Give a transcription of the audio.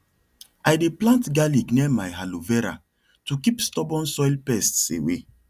i dey plant garlic near my aloe vera to keep stubborn soil pests away